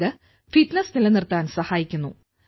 ഇത് ഫിറ്റ്നസ് നിലനിർത്താൻ സഹായിക്കുന്നു